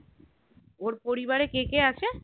ওর পরিবারে কে কে আছে